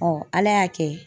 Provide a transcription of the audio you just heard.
Ala y'a kɛ